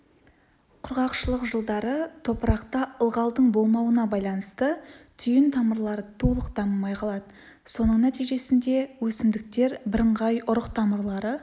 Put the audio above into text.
құрғақшылық жылдары топырақта ылғалдың болмауына байланысты түйін тамырлары толық дамымай қалады соның нәтижесінде өсімдіктер бірыңғай ұрық тамырлары